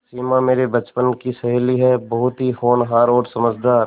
सिमा मेरे बचपन की सहेली है बहुत ही होनहार और समझदार